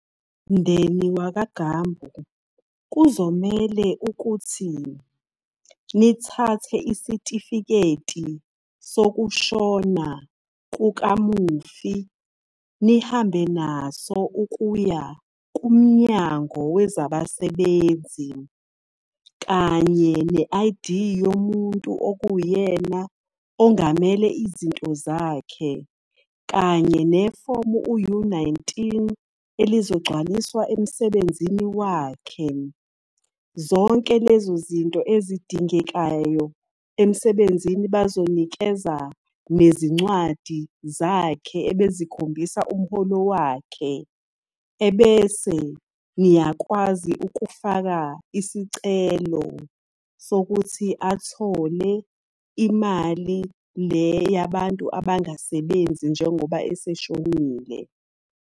Mndeni wakwaGambu, kuzomele ukuthi nithathe isitifiketi sokushona kukamufi, nihambe naso ukuya kumnyango wezabasebenzi. Kanye ne-I_D yomuntu okuyena ongamele izinto zakhe. Kanye nefomu u-U-nineteen elizogcwaliswa emsebenzini wakhe. Zonke lezo zinto ezidingekayo emsebenzini bazonikeza nezincwadi zakhe ebezikhombisa umholo wakhe. Ebese niyakwazi ukufaka isicelo sokuthi athole imali le yabantu abangasebenzi njengoba eseshonile.